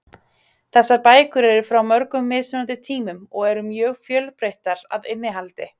Þessar bækur eru frá mörgum mismunandi tímum og eru mjög fjölbreyttar að innihaldi.